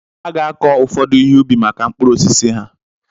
A ga-akọ ụfọdụ ihe ubi maka mkpụrụ osisi ha.